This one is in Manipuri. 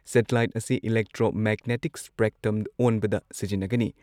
ꯁꯦꯇꯤꯂꯥꯏꯠ ꯑꯁꯤ ꯢꯂꯦꯛꯇ꯭ꯔꯣꯃꯦꯒꯅꯦꯇꯤꯛ ꯁ꯭ꯄꯦꯛꯇ꯭ꯔꯝ ꯑꯣꯟꯕꯗ ꯁꯤꯖꯤꯟꯅꯒꯅꯤ ꯫